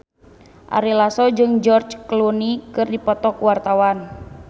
Ari Lasso jeung George Clooney keur dipoto ku wartawan